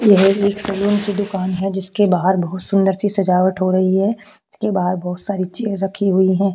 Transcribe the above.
यह एक सलून की दुकान है जिसके बाहर बहोत सुंदर सी सजावट हो रही है जिसके बाहर बहोत सी चेयर रखी हुई है।